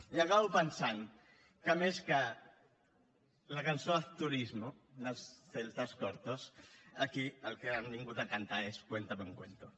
i acabo pensant que més que la cançó haz turismo dels celtas cortos aquí el que han vingut a cantar és cuéntame un cuento